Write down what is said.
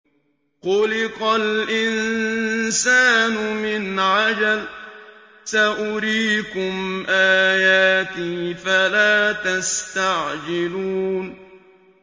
خُلِقَ الْإِنسَانُ مِنْ عَجَلٍ ۚ سَأُرِيكُمْ آيَاتِي فَلَا تَسْتَعْجِلُونِ